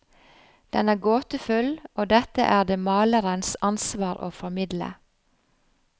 Den er gåtefull, og dette er det malerens ansvar å formidle.